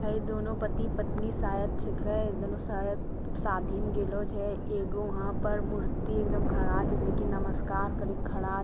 ए दोनों पति-पत्नी शायद छिके ए दोनो शायद शादी में गेलो छै एगो वहां पर मूर्ति एकदम खड़ा छै जे कि नमस्कार केर के खड़ा --